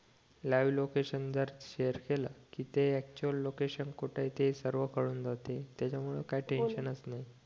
जर शेअर केलं तर अक्चुअल कुठंय ते कळून जाते त्याच्या मूळ काही टेन्शन चं नाही